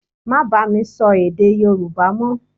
Má bá mi sọ èdè Yorùbá mọ́!